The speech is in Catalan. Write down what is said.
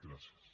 gràcies